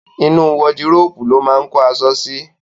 Inú wọdúròpè ló máa kó aṣọ sí.